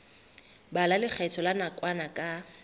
bala lekgetho la nakwana ka